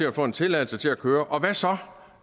at få en tilladelse til at køre og hvad så